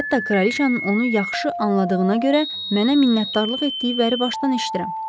Hətta kraliçanın onu yaxşı anladığına görə mənə minnətdarlıq etdiyi vəri başdan eşidirəm.